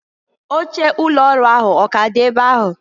Oche ụlọ ọrụ ahụ ọ k'a dị ebe ahụ?